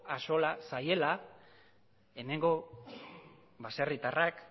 axola zaiela hemengo baserritarrak